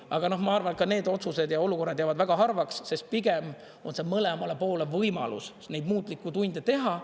Aga ma arvan, et need otsused ja olukorrad jäävad väga harvaks, sest pigem on see mõlemale poole võimalus neid muutlikke tunde teha.